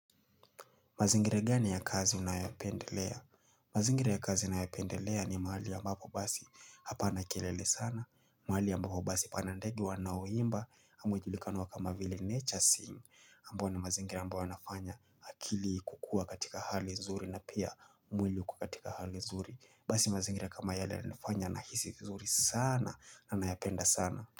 Mazingira gani ya kazi unayopendelea? Mazingere ya kazi unayopendelea ni mahali ya mbapo basi hapa kelele sana. Mahali ya ambapo basi pana ndege wanaowimba ama ujulikana kama vile nature sing ambo ni mazingere ambao wanafanya akili kukua katika hali nzuri na pia mwili kukatika hali nzuri. Basi mazingara kama yale anifanya nahisi nzuri sana na nayopenda sana.